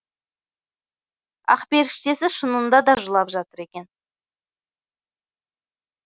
ақперіштесі шынында да жылап жатыр екен